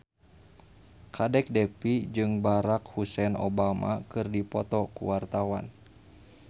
Kadek Devi jeung Barack Hussein Obama keur dipoto ku wartawan